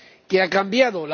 ¿Qué ha cambiado?